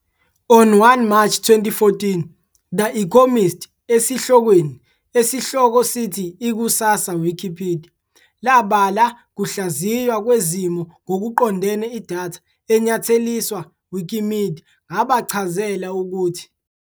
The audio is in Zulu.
On 1 March 2014, The Economist esihlokweni esihloko sithi "Ikusasa Wikipedia" labala kuhlaziywa kwezimo ngokuqondene idatha enyatheliswa Wikimedia ngabachazela ukuthi. ".